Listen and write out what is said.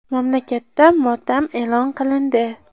Mamlakatda motam e’lon qilindi .